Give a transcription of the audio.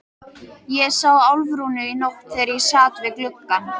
Ég sá Álfrúnu í nótt þegar ég sat við gluggann.